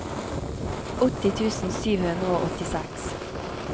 åtti tusen sju hundre og åttiseks